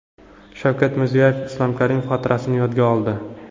Shavkat Mirziyoyev Islom Karimov xotirasini yodga oldi.